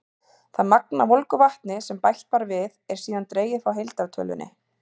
Það magn af volgu vatni sem bætt var við, er síðan dregið frá heildartölunni.